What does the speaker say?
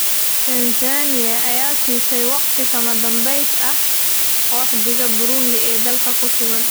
Tansaaniya ayaa siisay waqti kama dambays ah qaxootiga Burundi ee dalka ku sugan